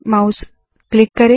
mouse click करे